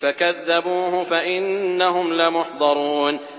فَكَذَّبُوهُ فَإِنَّهُمْ لَمُحْضَرُونَ